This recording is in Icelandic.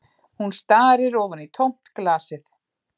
Hún starir ofan í tómt glasið